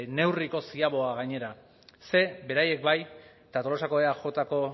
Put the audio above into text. neurriko ziaboga gainera ze beraiek bai eta tolosako eajko